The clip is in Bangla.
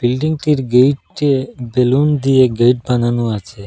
বিল্ডিংটির গেইটে বেলুন দিয়ে গেইট বানানো আছে।